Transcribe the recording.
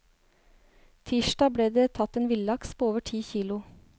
Tirsdag ble det tatt en villaks på over ti kilo.